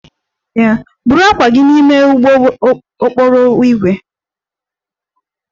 Buru akpa gị n'ime ụgbọ okporo ígwè!